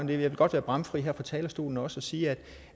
vil godt være bramfri her på talerstolen også og sige at